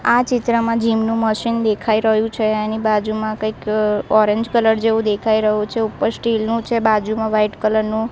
આ ચિત્રમાં જીમ નું મશીન દેખાય રહ્યુ છે એની બાજુમાં કઈક ઓરેન્જ કલર જેવુ દેખાય રહ્યુ છે ઉપર સ્ટીલ નું છે બાજુમાં વ્હાઇટ કલર નું--